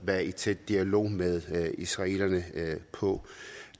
være i tæt dialog med israelerne på